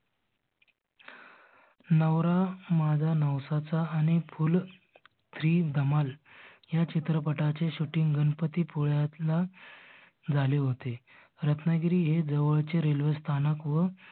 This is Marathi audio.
नवरा माझा नवसाचा आणि फूल थ्री धमाल ह्या चित्रपटाचे shooting गणपती पुळयातला झाले होते. रत्नागिरी हे जवळचे railway स्थानक व